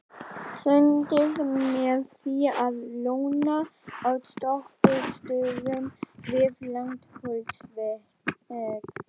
Sundið með því að lóna á stoppistöðvum við Langholtsveg.